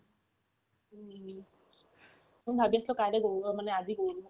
মই ভাবি আছিলো কাইলে গৰু অ মানে আজি গৰু বিহু